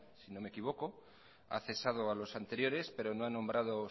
si no me equivoco ha cesado a los anteriores pero no ha nombrado